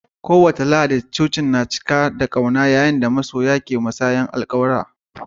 Kowace Lahadi, cocin tana amsawa da ƙauna yayin da ma'aurata ke taruwa don musayar alƙawura.